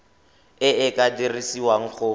e e ka dirisiwang go